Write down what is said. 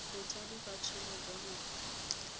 botsadi ka tsholo jwa ngwana